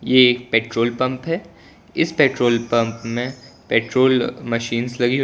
ये एक petrol pump है इस पेट्रोल पंप में पेट्रोल मशीन्स लगी हुई हैं।